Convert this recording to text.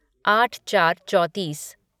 आठ चार चौतीस